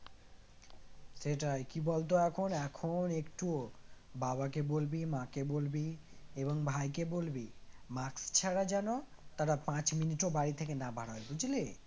সেটাই কি বলতো এখন এখন একটু বাবা কে বলবি মাকে বলবি এবং ভাইকে বলবি mask ছাড়া যেন তারা পাঁচ মিনিটও বাড়ি থেকে না বেরায় বুঝলি?